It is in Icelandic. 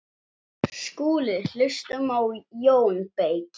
SKÚLI: Hlustum á Jón beyki!